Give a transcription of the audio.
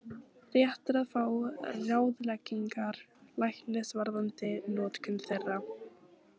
Rétt er að fá ráðleggingar læknis varðandi notkun þeirra.